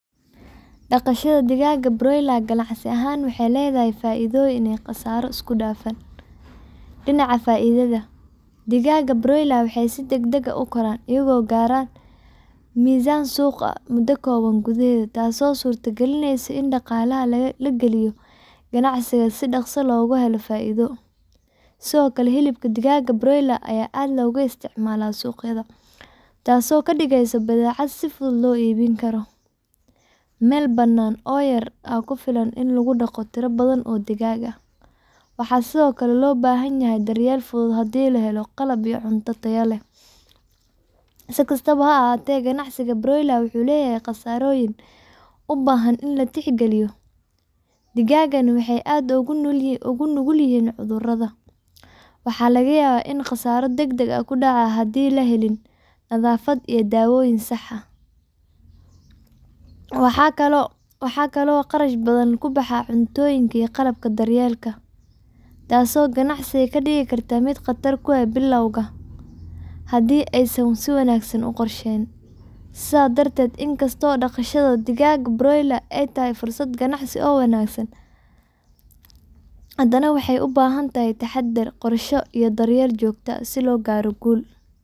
Dhaqashada digaagga broiler ganacsi ahaan waxay leedahay faa’iidooyin iyo khasaarooyin isku dhafan. Dhinaca faa’iidada, digaagga broiler waxay si degdeg ah u koraan, iyagoo gaara miisaan suuq ah muddo kooban gudaheed, taasoo suurtagelinaysa in dhaqaalaha la geliyo ganacsiga si dhakhso ah loogu helo faa’iido. Sidoo kale, hilibka digaagga broiler aad ayuu looga isticmaalaa suuqyada, taasoo ka dhigaysa badeecad si fudud loo iibin karo. Meel bannaan oo yar ayaa ku filan in lagu dhaqo tiro badan oo digaag ah, waxaana sidoo kale loo baahan yahay daryeel fudud haddii la helo qalab iyo cunto tayo leh. Si kastaba ha ahaatee, ganacsiga broiler-ka wuxuu leeyahay khasaarooyin u baahan in la tixgeliyo. Digaaggani waxay aad ugu nugul yihiin cudurro, waxaana laga yaabaa in khasaaro degdeg ah dhacdo haddii aan la helin nadaafad iyo daawooyin sax ah. Waxaa kale oo kharash badan ku baxa cuntooyinka iyo qalabka daryeelka, taasoo ganacsiga ka dhigi karta mid khatar ku ah dadka bilowga ah haddii aysan si wanaagsan u qorsheyn. Sidaas darteed, in kastoo dhaqashada digaagga broiler ay tahay fursad ganacsi oo wanaagsan, haddana waxay u baahan tahay taxaddar, qorshe iyo daryeel joogto ah si loo gaaro guul.